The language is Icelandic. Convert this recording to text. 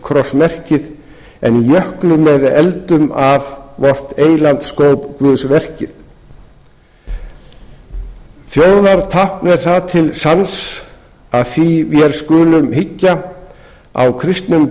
og rautt krossmerkið en jöklum eða eldum af vort eyland skóp guðsverkið þjóðartákn er það til sanns að því við skulum hyggja á kristnum